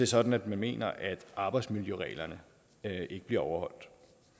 sådan at man mener at arbejdsmiljøreglerne ikke bliver overholdt